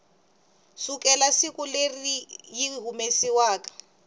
sukela siku leri yi humesiwaku